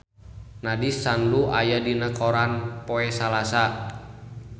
Nandish Sandhu aya dina koran poe Salasa